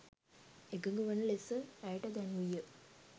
එකඟ වන ලෙස ඇයට දැන්වීය.